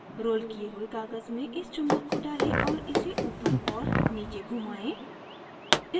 rolled किए हुए काग़ज़ में इस चुम्बक को डालें और इसे ऊपर और नीचे घुमाएँ